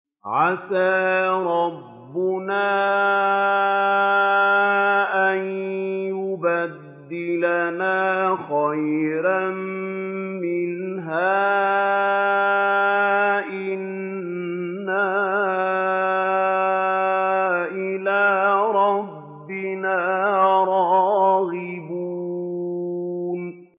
عَسَىٰ رَبُّنَا أَن يُبْدِلَنَا خَيْرًا مِّنْهَا إِنَّا إِلَىٰ رَبِّنَا رَاغِبُونَ